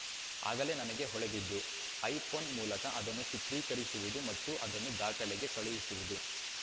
ಆಗಲೇ ನನಗೆ ಹೊಳೆದಿದ್ದು ಐಪೋನ್‌ ಮೂಲಕ ಅದನ್ನು ಚಿತ್ರೀಕರಿಸುವುದು ಮತ್ತು ಅದನ್ನು ದಾಖಲೆಗೆ ಕಳುಹಿಸುವುದು